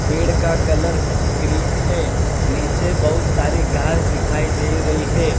पेड़ का colour green है नीचे बहुत सारी घास दिखाई दे रही है।